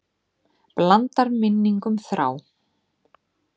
Blandar minningum þrá.